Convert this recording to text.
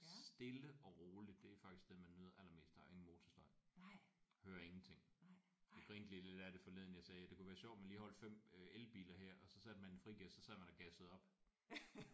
Stille og rolig. Det er faktisk det man nyder allermest. Der er ingen motorstøj. Hører ingenting. Jeg grinte lige lidt af det forleden. Jeg sagde det kunne være sjovt med lige at holde 5 elbiler her og så satte man den i frigear og så sidder man og gasser op